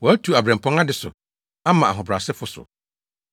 Watu abirɛmpɔn ade so ama ahobrɛasefo so.